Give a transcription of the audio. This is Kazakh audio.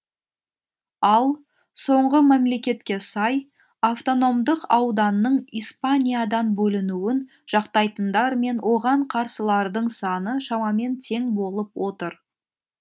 ал соңғы мәліметке сай автономдық ауданның испаниядан бөлінуін жақтайтындар мен оған қарсылардың саны шамамен тең болып отыр